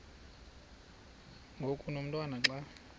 ngoku umotwana xa